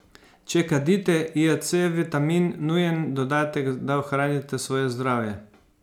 Če kadite, je C vitamin nujen dodatek, da ohranite svoje zdravje.